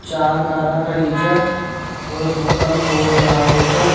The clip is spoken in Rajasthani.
चार कारा खड़ी छ और ऊपर बोर्ड लाग रेहो छ।